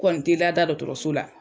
Kɔni te lada dɔtɔrɔso la